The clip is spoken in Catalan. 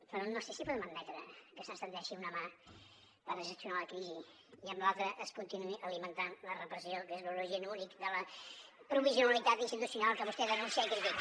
però no sé si podem admetre que se’ns estengui una mà per gestionar la crisi i amb l’altra es continuï alimentant la repressió que és l’origen únic de la provisionalitat institucional que vostè denuncia i critica